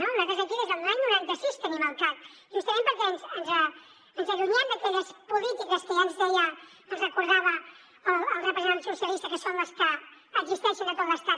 nosaltres aquí des de l’any noranta sis tenim el cac justament perquè ens allunyem d’aquelles polítiques que ja ens deia ens recordava el representant socialista que són les que existeixen a tot l’estat